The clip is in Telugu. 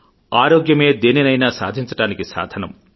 ఆరోగ్యమే దేనినైనా సాధించడానికి సాధనం